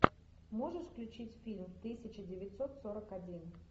можешь включить фильм тысяча девятьсот сорок один